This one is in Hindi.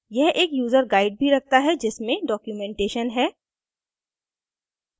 यह एक यूज़र guide भी रखता है जिसमे documentation है